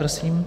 Prosím.